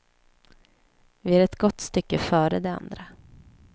Vi är ett gott stycke före de andra.